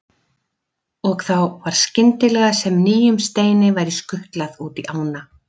Og þá var skyndilega sem nýjum steini væri skutlað út í ána.